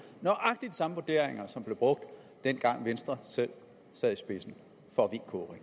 nøjagtig de samme vurderinger som blev brugt dengang venstre selv sad i spidsen for vk